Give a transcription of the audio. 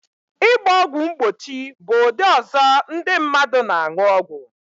Ịgba ọgwụ mgbochi bụ ụdị ọzọ ndi mmadu na aṅụ ọgwụ